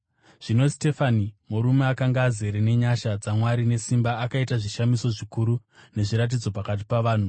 Zvino Sitefani, murume akanga azere nenyasha dzaMwari nesimba, akaita zvishamiso zvikuru nezviratidzo pakati pavanhu.